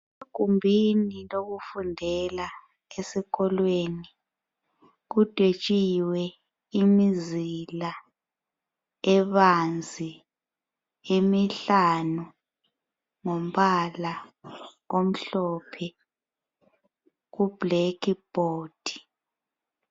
Egumbini lokufundela esikolweni kudwetshiwe imizila ebanzi emihlanu ngombala omhlophe kublackboard.